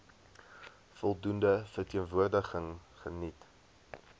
voldoende verteenwoordiging geniet